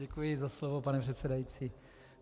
Děkuji za slovo, pane předsedající.